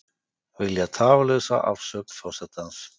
Vilja tafarlausa afsögn forsetans